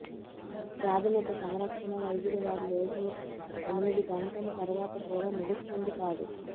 ప్రాథమిక సంరక్షణా వైద్యులు వారి రోజు ఎనిమిది గంటల తర్వాత కూడా ముగుస్తుంది కాదు